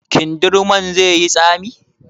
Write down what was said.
Kindirmon zai yi tsami?